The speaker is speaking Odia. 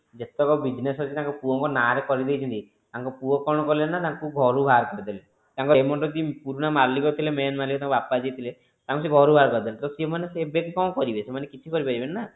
ଯେତକ business ଅଛି ତାଙ୍କ ପୁଅଙ୍କ ନାରେ କରି ଦେଇଛନ୍ତି ତାଙ୍କ ପୁଅ କଣ କଲେ ନା ତାଙ୍କୁ ଘରୁ ବାହାର କରିଦେଲେ ତାଙ୍କର ଏମିତି କି ତାଙ୍କର ପୁରୁଣା ମାଲିକ ଥିଲେ main ମାଲିକ ତାଙ୍କର ବାପା ଯିଏ ଥିଲେ ତାଙ୍କୁ ସିଏ ଘରୁ ବାହାର କରିଦେଲେ ସିଏ ମାନେ ଏବେ କଣ କରିବେ ସେମାନେ କିଛି କରିପାରିବେନି ନା